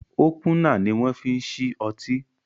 Ópúnà ni wọn fi ń ṣí ọtí